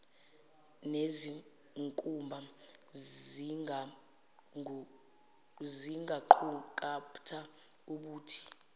nezinkumba zingaqukatha ubuthi